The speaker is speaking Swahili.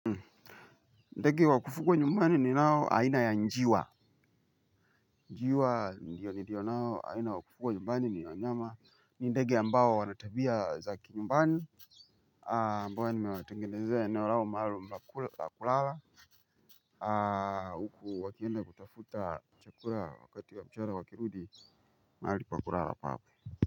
Ndege waku fugwa nyumbani ninao aina ya njiwa. Njiwa ndiyo ndiyo nao aina wakufugwa nyumbani ni wanyama ni ndege ambao wana tabia za kinyumbani ambao nimewatengenezea eneo lao maalum pa kula pa kulala. Huku wakienda kutafuta chakura wakati wa mchana wakirudi maali pa kulala pape.